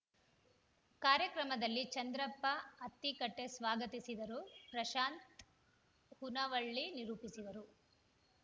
ಕಾರ್ಯಕ್ರಮದಲ್ಲಿ ಚಂದ್ರಪ್ಪ ಅತ್ತಿಕಟ್ಟೆಸ್ವಾಗತಿಸಿದರು ಪ್ರಶಾಂತ್‌ ಹುನವಳ್ಳಿ ನಿರೂಪಿಸಿದರು